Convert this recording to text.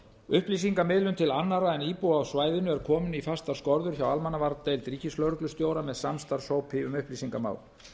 upplýsingamiðlun til annarra en íbúa á svæðinu er komin í fastar skorður hjá almannavarnadeild ríkislögreglustjóra með samstarfshópi um upplýsingamál